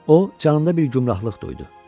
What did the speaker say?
O canında bir gümrahlıq duydu.